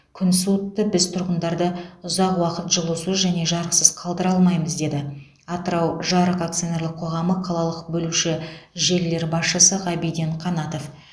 күн суытты біз тұрғындарды ұзақ уақыт жылусыз және жарықсыз қалдыра алмаймыз деді атырау жарық ақ қалалық бөлуші желілер басшысы ғабиден қанатов